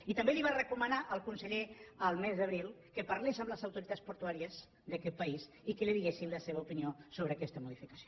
i també li va recomanar el conseller el mes d’abril que parlés amb les autoritats portuàries d’aquest país i que li diguessin la seva opinió sobre aquesta modificació